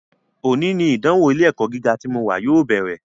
Òní ni ìdánwò ilé - ẹ̀kọ́ gíga tí mo wà yóò bẹ̀rẹ̀